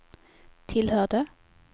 tillhörde